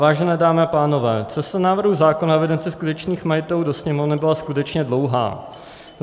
Vážené dámy a pánové, cesta návrhu zákona o evidenci skutečných majitelů do Sněmovny byla skutečně dlouhá.